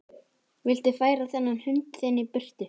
Viltu færa þennan hund þinn í burtu!